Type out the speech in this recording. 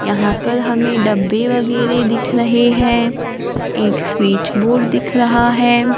यहां पर हमें डब्बे वगैरे दिख रहे हैं एक स्विच बोर्ड दिख रहा है।